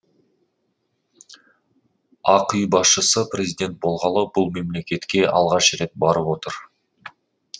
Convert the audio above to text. ақ үй басшысы президент болғалы бұл мемлекетке алғаш рет барып отыр